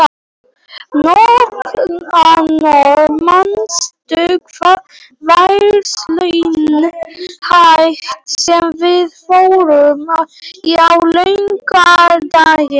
Nikanor, manstu hvað verslunin hét sem við fórum í á laugardaginn?